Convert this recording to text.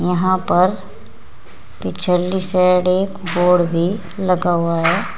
यहां पर पिछली साइड एक बोर्ड भी लगा हुआ है।